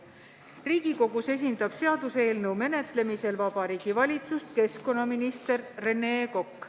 Riigikogus seaduseelnõu menetlemisel esindab Vabariigi Valitsust keskkonnaminister Rene Kokk.